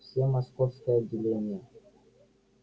всё московское отделение